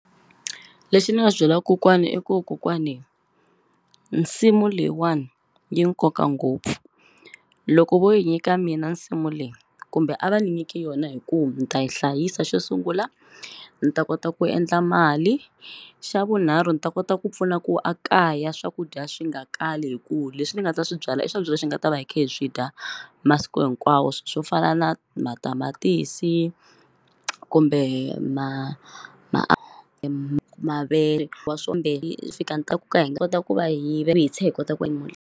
Lexi ni nga byela kokwani i ku kokwani nsimu leyiwani yi nkoka ngopfu loko vo yi nyika mina nsimu leyi kumbe a va ni nyiki yona hi ku ni ta yi hlayisa xo sungula ni ta kota ku endla mali xa vunharhu ni ta kota ku pfuna ku a kaya swakudya swi nga kali hi ku leswi ni nga ta swi byala i swakudya leswi hi nga ta va hi khe hi swi dya masiku hinkwawo swo fana na matamatisi kumbe .